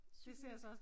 Cykelløb